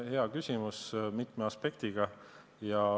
Hea küsimus, mitme aspektiga.